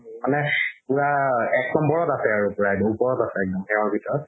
মানে পুৰা এক নম্বৰত আছে আৰু প্ৰায় ওপৰত আছে একদম সেহৰ ভিতৰত